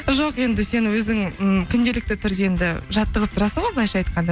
жоқ енді сен өзің м күнделікті түрде енді жаттығып тұрасың ғой былайынша айтқанда